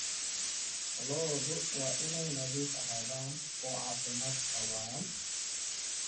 Lo'du waa inay nadiif ahaadaan oo caafimaad qabaan.